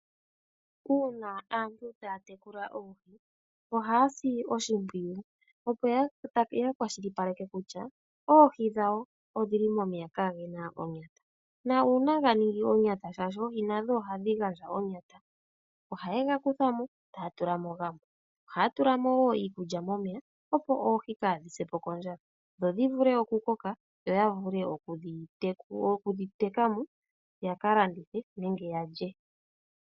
Uuna aantu taa tekula oohi, ohaa si oshimpwiyu, opo ya kwashilipaleke kutya, oohi dhawo odhi li momeya kaage na onyata. Nuuna ga ningi onyata, shaashi oohi nadho ohadhi gandja onyata, ohaye ga kutha mo, taya tula mo gamwe. Ohaya tula mo wo iikulya momeya, opo oohi kaadhi se po kondjala, dho dhi vule okukoka, yo ya vule okudhi teka mo, ya ka landithe nenge ya lye.